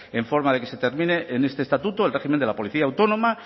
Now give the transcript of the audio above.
en forma de que se termine en este estatuto el régimen de la policía autónoma